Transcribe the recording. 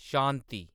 शांति